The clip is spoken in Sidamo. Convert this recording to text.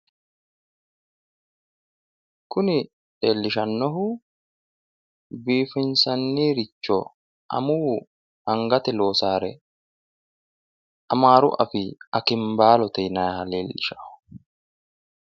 Kuni leellishshannohu biiffinsanniricho amuwu angatenni loosaare amaaru afiinni akinbaabbalote yinayiiha leellishanno.